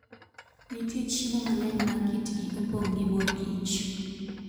Nitie chiemo mang'eny ma kitgi opong' gi mor kich.